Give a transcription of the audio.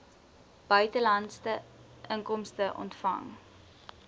buitelandse inkomste ontvang